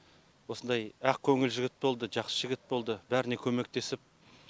осындай ақкөңіл жігіт болды жақсы жігіт болды бәріне көмектесіп